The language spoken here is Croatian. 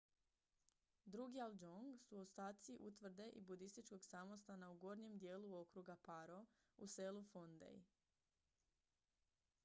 drukgyal dzong su ostaci utvrde i budističkog samostana u gornjem dijelu okruga paro u selu phondey